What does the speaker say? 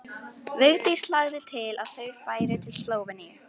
Vigdís lagði til að þau færu til Slóveníu.